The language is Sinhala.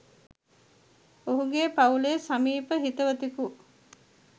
ඔහුගේ පවුලේ සමීප හිතවතෙකු